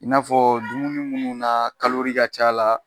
I n'a fɔ dumuni munnu na ka ca la